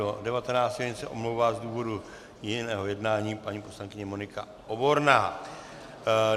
Od 17 do 19 hodin se omlouvá z důvodu jiného jednání paní poslankyně Monika Oborná.